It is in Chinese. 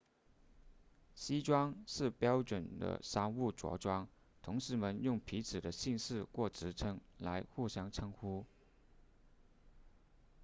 西装是标准的商务着装同事们用彼此的姓氏或职称来互相称呼